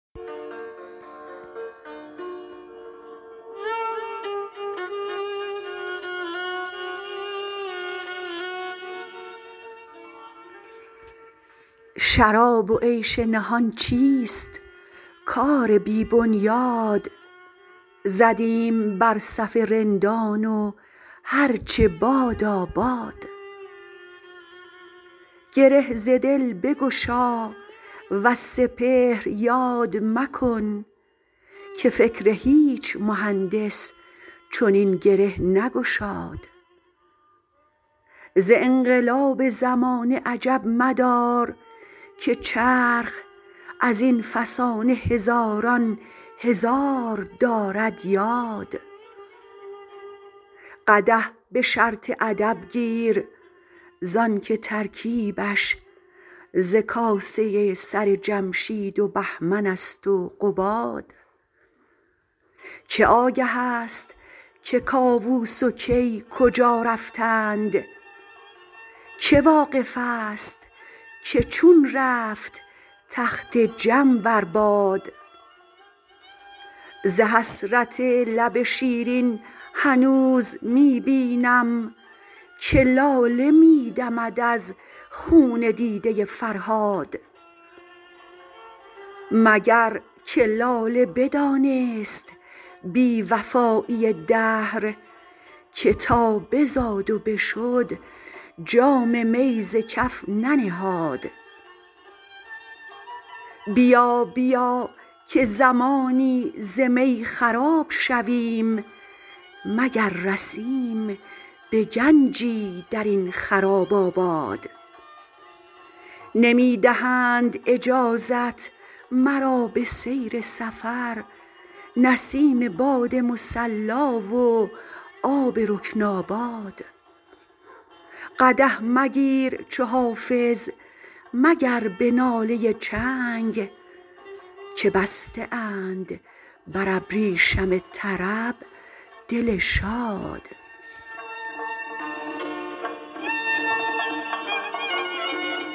شراب و عیش نهان چیست کار بی بنیاد زدیم بر صف رندان و هر چه بادا باد گره ز دل بگشا وز سپهر یاد مکن که فکر هیچ مهندس چنین گره نگشاد ز انقلاب زمانه عجب مدار که چرخ از این فسانه هزاران هزار دارد یاد قدح به شرط ادب گیر زان که ترکیبش ز کاسه سر جمشید و بهمن است و قباد که آگه است که کاووس و کی کجا رفتند که واقف است که چون رفت تخت جم بر باد ز حسرت لب شیرین هنوز می بینم که لاله می دمد از خون دیده فرهاد مگر که لاله بدانست بی وفایی دهر که تا بزاد و بشد جام می ز کف ننهاد بیا بیا که زمانی ز می خراب شویم مگر رسیم به گنجی در این خراب آباد نمی دهند اجازت مرا به سیر سفر نسیم باد مصلا و آب رکن آباد قدح مگیر چو حافظ مگر به ناله چنگ که بسته اند بر ابریشم طرب دل شاد